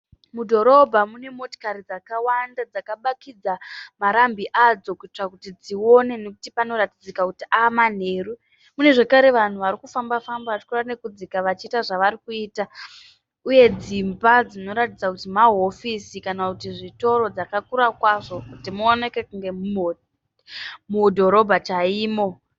Mudhorobha mune motokari dzakawanda dzakabatidza marambi adzo kuitira kuti dzione nekuti panoratidzika kuti ave manheru. Munezvakare vanhu varikufamba famba vachikeira nekudzika vachiita zvavarikuita uye dzimba dzinoratidzika kuti mahofisi kana kuti zvitoro dzakakura kwazvo kuti muoneke kunge mudhorobha chaimo.